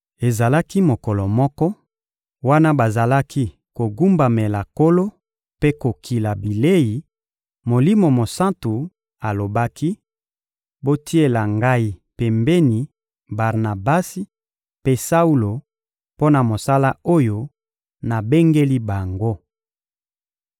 Ezalaki mokolo moko, wana bazalaki kogumbamela Nkolo mpe kokila bilei, Molimo Mosantu alobaki: — Botiela ngai pembeni Barnabasi mpe Saulo mpo na mosala oyo nabengeli bango.